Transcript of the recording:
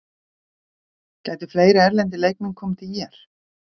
Gætu fleiri erlendir leikmenn komið til ÍR?